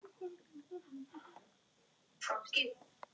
Hvað ertu að hugsa, elskan?